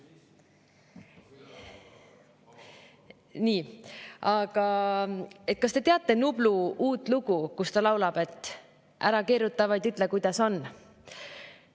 Nii, kas te teate Nublu uut lugu, kus ta laulab, et ära keeruta, vaid ütle, kuidas on?